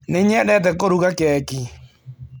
Nĩ nyendete kũruga keki.